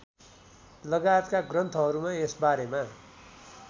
लगायतका ग्रन्थहरूमा यसबारेमा